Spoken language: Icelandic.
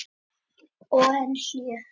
Og enn hlé.